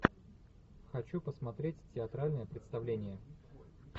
хочу посмотреть театральное представление